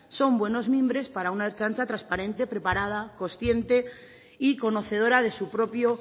son buenos mimbres para una ertzaintza transparente preparada consciente y conocedora de su propio